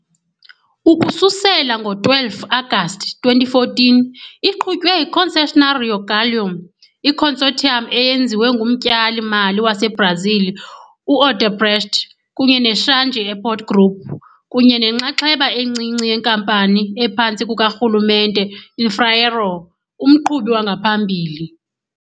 Ukususela ngo-12 Agasti 2014 iqhutywe yi- Concessionary Rio Galeão, i-consortium eyenziwe ngumtyali-mali waseBrazil u-Odebrecht kunye ne-Changi Airport Group, kunye nenxaxheba encinci yenkampani ephantsi kukarhulumente Infraero, umqhubi wangaphambili.